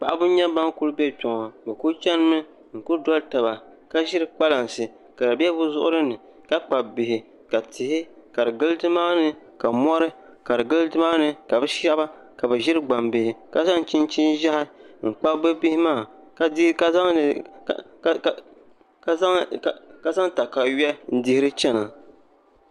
paɣaba n-nyɛ ban kuli be kpe ŋɔ bɛ kuli chanimi n kuli doli taba ka ʒiri kpalansi ka di be bɛ zuɣuri ni ka kpabi bihi ka tihi ka di gili ni maa ni ka mori ka di gili ni maa ni ka bɛ shaba ʒiri gbambihi ka zaŋ chinchin' ʒehi n kpabi bɛ bihi maa ka zaŋ takayuya n dihiri chana